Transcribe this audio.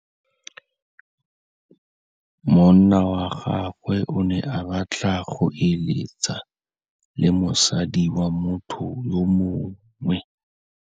Monna wa gagwe o ne a batla go êlêtsa le mosadi wa motho yo mongwe.